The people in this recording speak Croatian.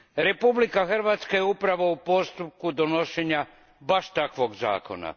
Republika Hrvatska je upravo u postupku donošenja baš takvog zakona.